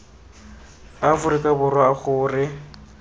a aforika borwa a gore